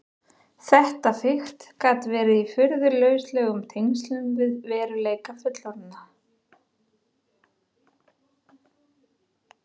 Þetta fikt gat verið í furðu lauslegum tengslum við veruleika fullorðinna.